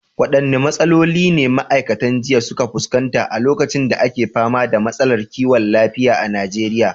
Waɗanne matsaloli ne ma’aikatan jinya suka fuskanta a lokacin da ake fama da matsalar kiwon lafiya a Najeriya?